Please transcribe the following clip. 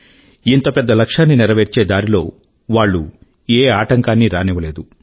ఇంత పెద్ద లక్ష్యాన్ని నెరవేర్చే దారి లో వాళ్ళు ఏ ఆటంకాన్నీ రానివ్వలేదు